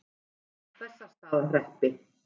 Bessastaðahreppi